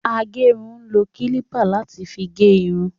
Agérun ń lo kílípà láti fi gé irun